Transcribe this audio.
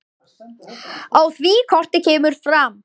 Á því korti kemur fram